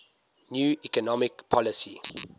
new economic policy